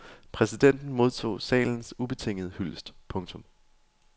Præsidenten modtog salens ubetingede hyldest. punktum